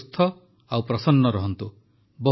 ଆପଣ ସୁସ୍ଥ ଓ ପ୍ରସନ୍ନ ରହନ୍ତୁ